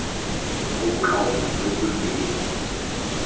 mo bokaong jo bo rileng